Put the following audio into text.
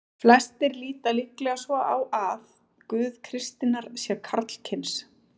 Flestir líta líklega svo á að Guð kristninnar sé karlkyns.